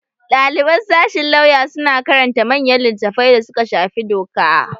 Ɗaliban sashin lauya suna karanta manyan litattafai da suka shafi doka.